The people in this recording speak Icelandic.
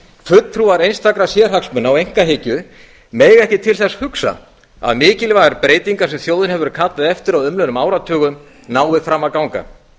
fulltrúar einstakra sérhagsmuna og einkahyggju mega ekki til þess hugsa að mikilvægar breytingar sem þjóðin hefur kallað eftir á umliðnum áratugum nái fram að ganga